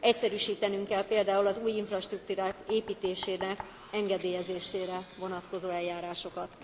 Egyszerűsítenünk kell például az új infrastruktúrák építésének engedélyezésére vonatkozó eljárásokat.